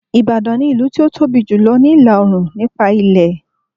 Ìbàdàn ni ilu tó tóbi jù ní ìlà Òòrùn nípa ilẹ̀